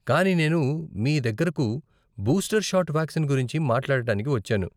కానీ నేను మీ దగ్గరకు బూస్టర్ షాట్ వాక్సిన్ గురించి మాట్లాడటానికి వచ్చాను.